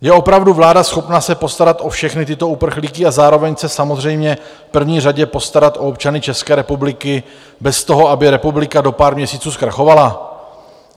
Je opravdu vláda schopná se postarat o všechny tyto uprchlíky a zároveň se samozřejmě v první řadě postarat o občany České republiky bez toho, aby republika do pár měsíců zkrachovala?